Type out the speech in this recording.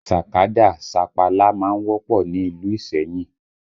Sàkádà, sapala má ń wọ́pọ̀ ni ìlú Iseyin